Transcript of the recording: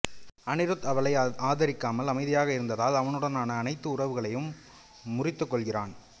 அனிருத் அவளை ஆதரிக்காமல் அமைதியாக இருந்ததால் அவனுடனான அனைத்து உறவுகளையும் முறித்துக் கொள்கிறான்